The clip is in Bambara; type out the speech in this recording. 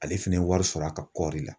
Ale fɛnɛ ye wari sɔrɔ a ka kɔɔri la.